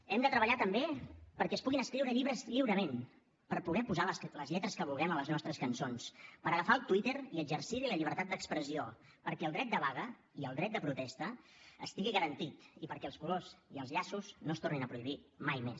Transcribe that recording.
hem de treballar també perquè es puguin escriure llibres lliurement per poder posar les lletres que vulguem a les nostres cançons per agafar el twitter i exercir hi la llibertat d’expressió perquè el dret de vaga i el dret de protesta estiguin garantits i perquè els colors i els llaços no es tornin a prohibir mai més